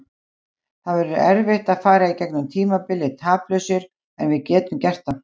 Það verður erfitt að fara í gegnum tímabilið taplausir en við getum gert það.